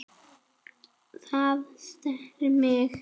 Það snerti mig.